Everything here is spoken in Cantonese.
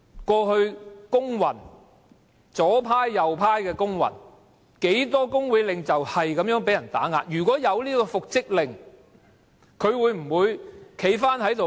過去不論左派或右派的工運，有多少工會領袖遭受打壓，如果有復職令，他會否堅決回去復職？